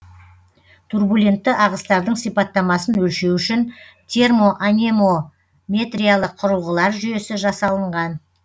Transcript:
турбулентті ағыстардың сипаттамасын өлшеу үшін термоанемометриялық құрылғылар жүйесі жасалынған